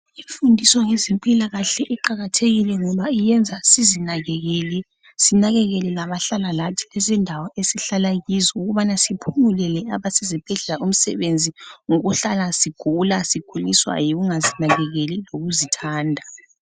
Imfundiso ngezempilakahle iqakathekile ngoba iyenza sizinakekele, sinakekele labahlala lathi izindawo esihlala kizo ukubana siphungulele abasezibhedlela umsebenzi ngokuhlala sigula siguliswa yikungazinakekeli lokuzithanda.